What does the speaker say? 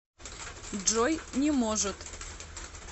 джой не может